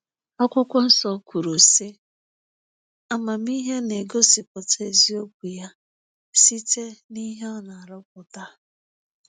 Akwụkwọ Nsọ kwuru, sị: ‘Amamihe na-egosipụta eziokwu ya site n’ihe ọ na-arụpụta.